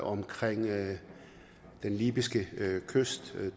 omkring den libyske kyst